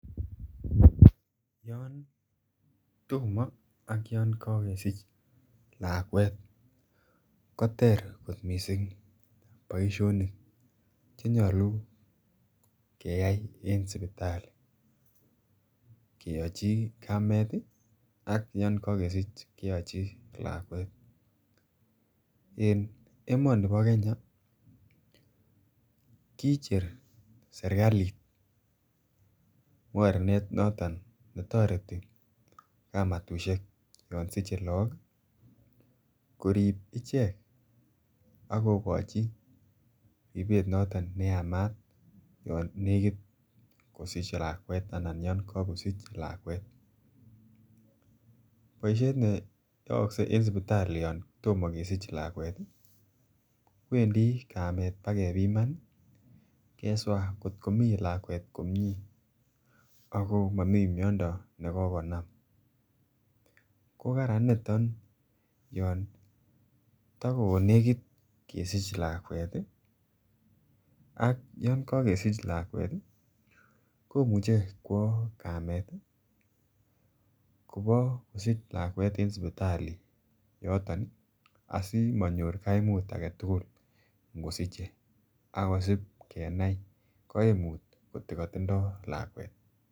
Yon tomo ak yon kokesich lakwet koter kot missing boisionik chenyolu keyai en sipitali keyochi kamet ii ak yon kokesich keyochi lakwet en emoni bo kenya kicher serikalit mornet noton netoreti kamatusiek yon siche laak ii korip ichek akokochi ripet noton neyamat yon nekit kosich lakwet anan yon kokosich lakwet boisiet neyookse en sipitali yon tomo kesich lakwet ii wendi kamet pakepiman keswa ngot komii lakwet komie akoo momii miando nekokonam kokaran niton yon tokonegit keseich lakwet ii ak yongokesich lakwet ii komuche kwo kamet kobokosich lakwet en sipitali yoton ii asimonyor kaimut agetugul ngosiche akesip kenai koimut ngoto kotindoo lakwet.